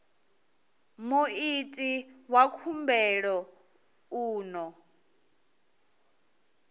muiti wa khumbelo u ḓo